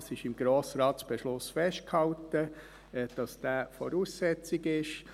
Dies ist im Grossratsbeschluss festgehalten, dass dieser Voraussetzung ist.